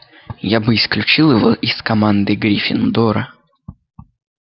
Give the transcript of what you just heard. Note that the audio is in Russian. я бы исключил его из команды гриффиндора